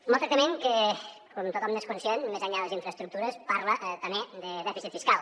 un maltractament que com tothom n’és conscient més enllà de les infraestructures parla també de dèficit fiscal